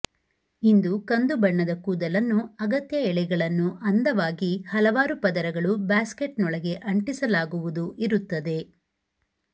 ಇದು ಕಂದು ಬಣ್ಣದ ಕೂದಲನ್ನು ಅಗತ್ಯ ಎಳೆಗಳನ್ನು ಅಂದವಾಗಿ ಹಲವಾರು ಪದರಗಳು ಬ್ಯಾಸ್ಕೆಟ್ನೊಳಗೆ ಅಂಟಿಸಲಾಗುವುದು ಇರುತ್ತದೆ